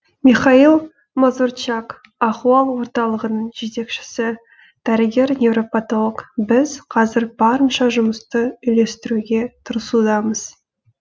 михаил мазурчак ахуал орталығының жетекшісі дәрігер невропотолог біз қазір барынша жұмысты үйлестіруге тырысудамыз